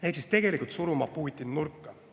Ehk tegelikult Putin suruda nurka.